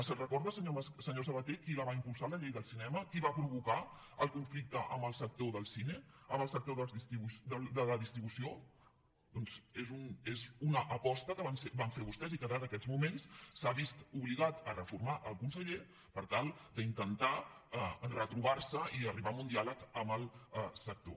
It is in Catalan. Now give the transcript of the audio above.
se’n recorda senyor sabaté qui va impulsar la llei del cinema qui va provocar el conflicte amb el sector del cine amb el sector de la distribució doncs és una aposta que van fer vostès i que ara en aquests moments s’ha vist obligat a reformar el conseller per tal d’intentar retrobar se i arribar a un diàleg amb el sector